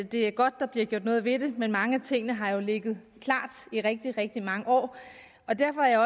det er godt der bliver gjort noget ved det men mange af tingene har jo ligget klar i rigtig rigtig mange år og derfor er jeg